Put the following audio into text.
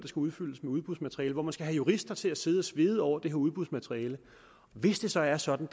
skal udfyldes med udbudsmateriale og man skal have jurister til at sidde og svede over det her udbudsmateriale hvis det så er sådan